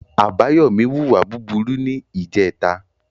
Abayomi wù wà búburú ní ìje tà.